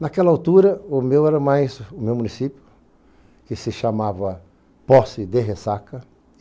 Naquela altura, o meu era mais... o meu município, que se chamava Poce de Ressaca.